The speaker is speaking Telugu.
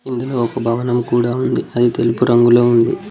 ఒక భవనం కూడా ఉంది అది తెలుపు రంగులో ఉంది.